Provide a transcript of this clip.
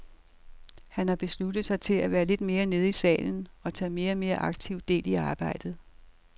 Han har besluttet sig for at være lidt mere nede i salen, og tage mere og mere aktivt del i arbejdet.